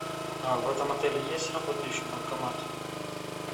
а в этом отеле есть работающий банкомат